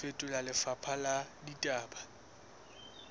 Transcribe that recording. ho fetola lefapha la ditaba